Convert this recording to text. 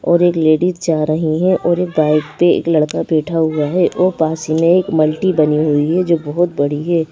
और एक लेडीज जा रही हैं और एक बाइक पे एक लड़का बैठा हुआ है और पासी में एक मल्टी बनी हुई है जो बहुत बड़ी है।